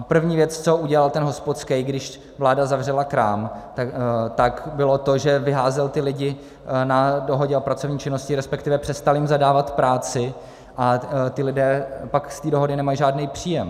A první věc, co udělal ten hospodskej, když vláda zavřela krám, tak bylo to, že vyházel ty lidi na dohodě o pracovní činnosti, respektive přestal jim zadávat práci, a ti lidé pak z té dohody nemají žádný příjem.